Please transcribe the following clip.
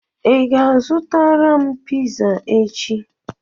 ị ga-azụtara m piza echi?